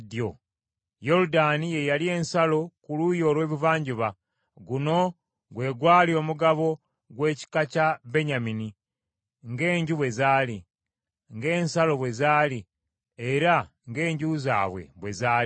Yoludaani ye yali ensalo ku luuyi olw’ebuvanjuba. Guno gwe gwali omugabo gw’ekika kya Benyamini ng’enju bwe zaali, ng’ensalo bwe zaali era ng’enju zaabwe bwe zaali.